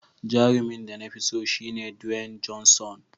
Jarumin da na fi so shine Dwayne Johnson.